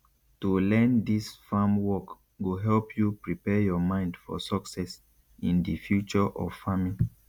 to learn dis farm work go help you prepare your mind for success in di future of farming